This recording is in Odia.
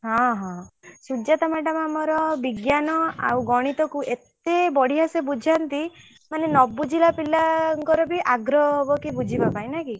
ହଁ ହଁ ସୁଜାତା madam ଆମର ବିଜ୍ଞାନ ଆଉ ଗଣିତ କୁ ଏତେ ବଢିଆ ସେ ବୁଝାନ୍ତି ମାନେ ନ ବୁଝିଲା ପିଲାଙ୍କର ବି ଆଗ୍ରହ ହବ କି ବୁଝିବା ପାଇଁକି ନାଇଁକି।